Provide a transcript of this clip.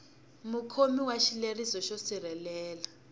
mukhomi wa xileriso xo sirhelela